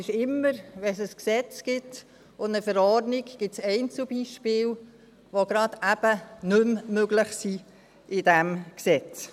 Immer, wenn es ein Gesetz und eine Verordnung gibt, gibt es Einzelbeispiele, die eben gerade nicht mehr möglich sind mit diesem Gesetz.